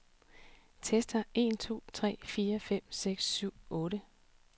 Tester en to tre fire fem seks syv otte.